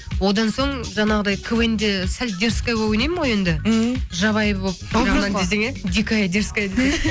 одан соң жаңағыдай квн де сәл дерзская болып ойнаймын ғой енді мхм жабайы болып дикая дерзская десе